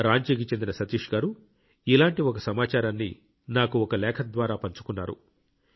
రాంచీకి చెందిన సతీష్ గారు ఇలాంటి ఒక సమాచారాన్ని నాకు ఒక లేఖ ద్వారా పంచుకున్నారు